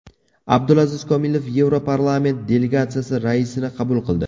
Abdulaziz Kamilov Yevroparlament delegatsiyasi raisini qabul qildi.